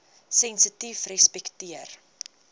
sensitiefrespekteer